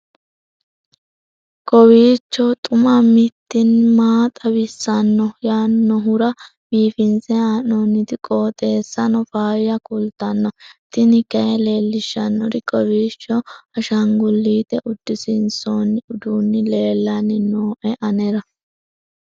kowiicho xuma mtini maa xawissanno yaannohura biifinse haa'noonniti qooxeessano faayya kultanno tini kayi leellishshannori kowiicho ashangullete udisiinsooni uduunni leellanni nooe anera